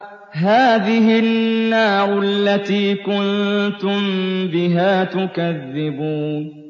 هَٰذِهِ النَّارُ الَّتِي كُنتُم بِهَا تُكَذِّبُونَ